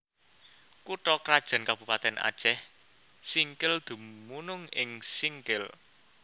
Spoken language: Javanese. Kutha krajan Kabupatèn Acèh Singkil dumunung ing Singkil